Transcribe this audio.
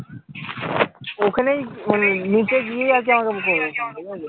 ওখানেই মানে নিচে গিয়েই আমাকে করো